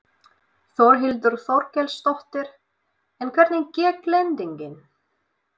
Þórhildur Þorkelsdóttir: En hvernig gekk lendingin?